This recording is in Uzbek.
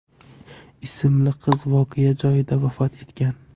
ismli qiz voqea joyida vafot etgan.